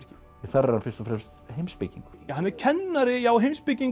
þar er hann fyrst og fremst heimspekingur hann er kennari já heimspekingur